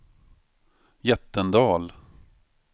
Jättendal